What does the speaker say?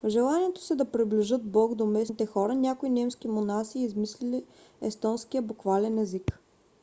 в желанието си да приближат бог до местните хора някои немски монаси измислили естонския буквален език